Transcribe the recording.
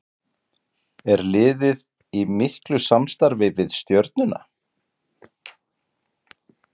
Er liðið í miklu samstarfi við Stjörnuna?